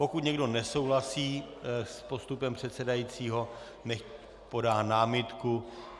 Pokud někdo nesouhlasí s postupem předsedajícího, nechť podá námitku.